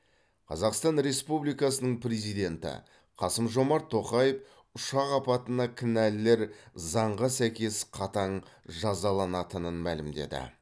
қазақстан республикасының президенті қасым жомарт тоқаев ұшақ апатына кінәлілер заңға сәйкес қатаң жазаланатынын мәлімдеді